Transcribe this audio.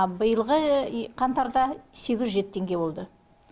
биылғы қаңтарда сегіз жүз жеті теңге болды